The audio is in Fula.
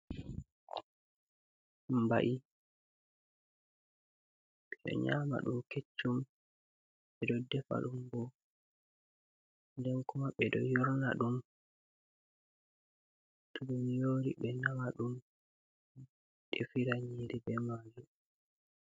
Mbai, ɓe ɗo nyama ɗum keccum, ɓe ɗo defa ɗum bo. Den kuma ɓe ɗo yorna ɗum to ɗum yori be nama ɗum defira nyiri be majum.